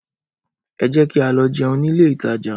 Ẹ jẹ́ ká lọ jẹun nílé ìtajà